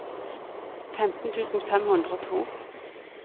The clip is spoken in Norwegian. femten tusen fem hundre og to